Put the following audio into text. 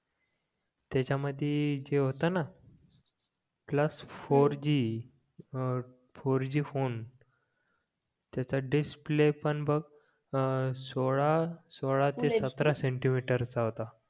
त्याच्या मध्ये जे होता ना कुटला जी अं फोर जी फोन त्याचा डिस्प्ले पण बघ अं सोळा सोळा सतरा सेंटीमीटर चा होता